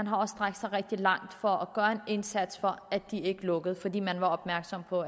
har strakt sig rigtig langt for at gøre en indsats for at de ikke lukkede fordi man var opmærksom på